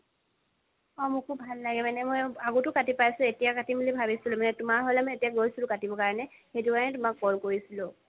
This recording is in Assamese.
অ' মোকো ভাল লাগে। মানে আগতে কাটি পাইছো, এতিয়া কাটিম বুলি ভাবিছিলো মানে তুমাৰ হ'লে মানে এতিয়া গৈছো কাটিবৰ কাৰণে সেইটো কাৰণে তোমাক call কৰিছিলো।